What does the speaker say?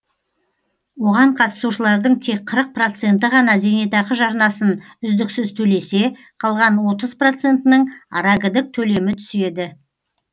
оған қатысушылардың тек қырық проценті ғана зейнетақы жарнасын үздіксіз төлесе қалған отыз процентінің арагідік төлемі түседі